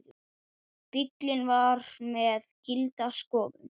Bíllinn var með gilda skoðun.